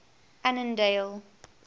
annandale